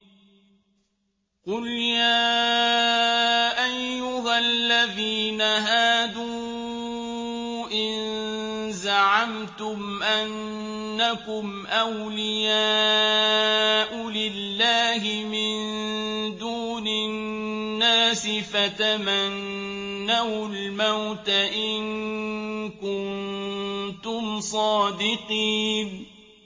قُلْ يَا أَيُّهَا الَّذِينَ هَادُوا إِن زَعَمْتُمْ أَنَّكُمْ أَوْلِيَاءُ لِلَّهِ مِن دُونِ النَّاسِ فَتَمَنَّوُا الْمَوْتَ إِن كُنتُمْ صَادِقِينَ